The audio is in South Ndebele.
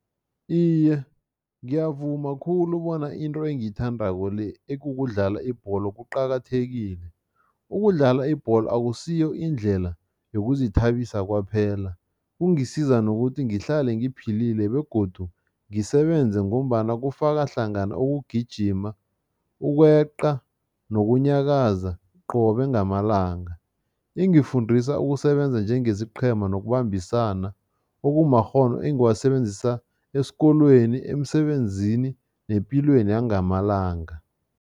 Iye, ngiyavuma khulu bona into engiyithandako le, ekukudlala ibholo kuqakathekile. Ukudlala ibholo akusiyo indlela yokuzithabisa kwaphela, kungisiza nokuthi ngihlale ngiphelile begodu ngisebenze ngombana kufaka hlangana ukugijima, ukweqa nokunyakaza qobe ngamalanga. Ingifundisa ukusebenza njengesiqhema nokubambisana okumakghono engiwasebenzisa esikolweni, emsebenzini nepilweni yangamalanga.